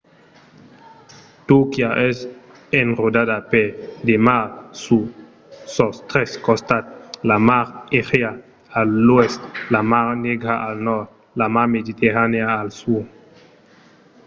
turquia es enrodada per de mars sus sos tres costats: la mar egèa a l’oèst la mar negra al nòrd e la mar mediterranèa al sud